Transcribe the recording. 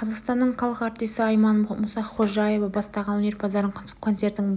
қазақстанның халық артисі айман мұсақожаева бастаған өнерпаздардың концертін